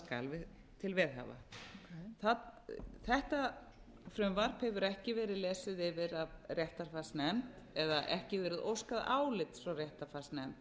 skal til veðhafa þetta frumvarp hefur ekki verið lesið yfir af réttarfarsnefnd eða ekki verið óskað álits frá réttarfarsnefnd